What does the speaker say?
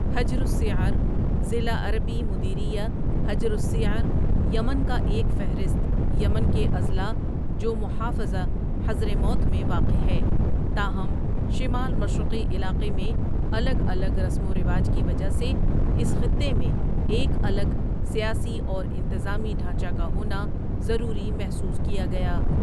حجر الصیعر ضلع عربی مديرية حجر الصيعر یمن کا ایک فہرست یمن کے اضلاع جو محافظہ حضرموت میں واقع ہے تاہم، شمال مشرقی علاقے میں الگ الگ رسم و رواج کی وجہ سے، اس خطے میں ایک الگ سیاسی اور انتظامی ڈھانچہ کا ہونا ضروری محسوس کیا گیا۔